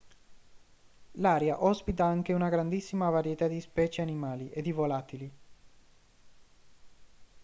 l'area ospita anche una grandissima varietà di specie animali e di volatili